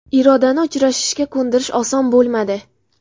Irodani uchrashishga ko‘ndirish oson bo‘lmadi.